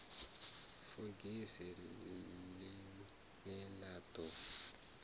fogisi ḽi ne ḽa ḓo